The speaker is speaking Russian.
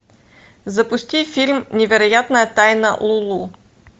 запусти фильм невероятная тайна лулу